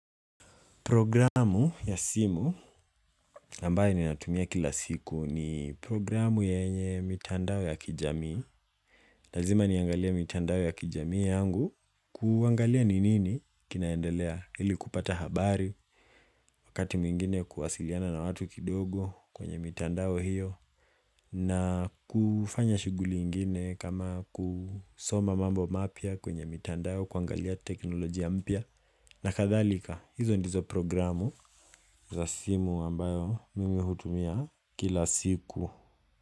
Programu ya simu ambayo ninatumia kila siku ni programu yenye mitandao ya kijami. Lazima niangalia mitandao ya kijamii yangu kuangalia ninini kinaendelea ili kupata habari wakati mwingine kuwasiliana na watu kidogo kwenye mitandao hiyo na kufanya shuguli ingine kama kusoma mambo mapya kwenye mitandao kuangalia teknolojia mpya na kadhalika, hizo ndizo programu za simu ambayo mimi hutumia kila siku.